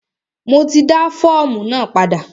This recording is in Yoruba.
Mo ti dá fọ́ọ̀mù náà padà.